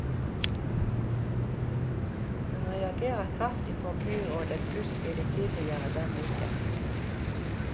Hun reagerer kraftig på byrådets utspill tidligere denne uken.